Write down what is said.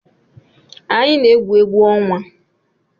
Anyị na-egwu egwu ọnwa.